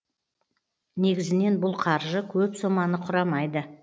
негізінен бұл қаржы көп соманы құрамайды